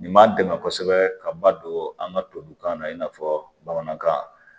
Nin man gɛlɛn kosɛbɛ ka ba don an ka tubabukan na i n'a fɔ bamanankan